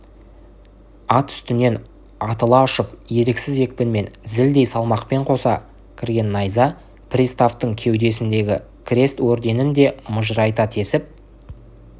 ат үстінен атыла ұшып еріксіз екпінмен зілдей салмақпен қоса кірген найза приставтың кеудесіндегі крест орденін де мыжырайта тесіп